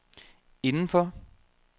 indenfor